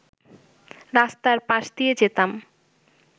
রাস্তার পাশ দিয়ে যেতাম